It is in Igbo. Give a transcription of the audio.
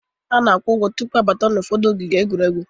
A na-akwụ ụgwọ tụpụ abata ụfọdụ ogige egwuregwu